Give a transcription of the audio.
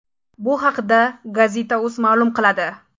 Bu haqda Gazeta.uz ma’lum qiladi.